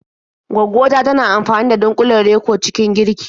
Gwaggo ta tana amfani da dunƙulen Reko cikin girki.